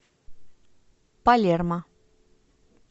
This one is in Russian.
палермо